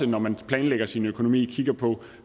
når man planlægger sin økonomi kigger på